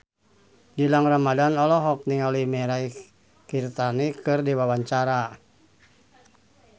Gilang Ramadan olohok ningali Mirei Kiritani keur diwawancara